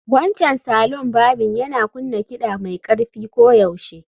Wancan salon barbing yana kunna kiɗa mai ƙarfi koyaushe